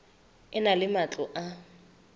e na le matlo a